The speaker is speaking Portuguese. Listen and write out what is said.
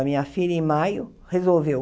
A minha filha, em maio, resolveu.